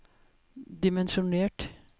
dimensjonert